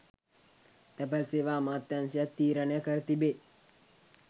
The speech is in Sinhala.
තැපැල් සේවා අමාත්‍යාංශයත් තීරණය කර තිබේ.